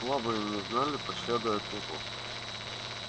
слабые не знали пощады от него